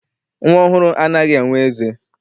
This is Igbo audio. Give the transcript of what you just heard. Nnwa ọhụrụ anaghị enwe eze.